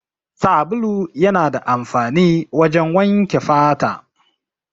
Sabulu yana da amfani wajen wanke fata.